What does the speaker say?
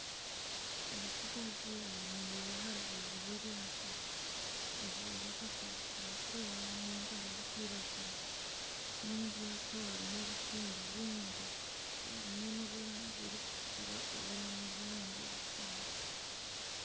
Omutsigazi ayemereire aha rubaju rw'eryato ajwaire akasaati karikwera nana empare erikwiragura n'omuryato harimu obutimba bwingi obumwe nobw'erangi erikutukura obundi n'obwerangi erikwera